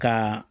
Ka